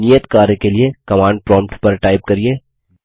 नियत कार्य के लिए कमांड प्रोम्प्ट पर टाइप करिये